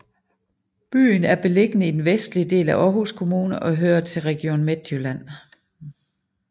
Byen er beliggende i den vestlige del af Aarhus Kommune og hører til Region Midtjylland